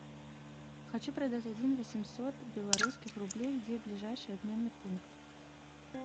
хочу продать один восемьсот белорусских рублей где ближайший обменный пункт